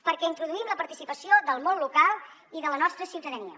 perquè introduïm la participació del món local i de la nostra ciutadania